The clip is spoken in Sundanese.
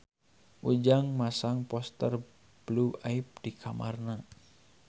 Ujang masang poster Blue Ivy di kamarna